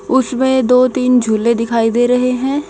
उसमें दो तीन झूले दिखाई दे रहे हैं।